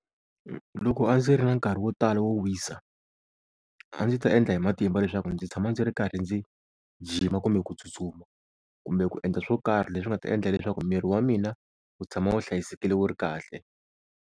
Loko a ndzi ri na nkarhi wo tala wo wisa, a ndzi ta endla hi matimba leswaku ndzi tshama ndzi ri karhi ndzi jima kumbe ku tsutsuma, kumbe ku endla swo karhi leswi nga ta endla leswaku miri wa mina wu tshama wu hlayisekile wu ri kahle.